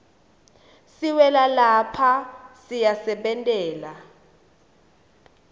siwela lapha siyasebentela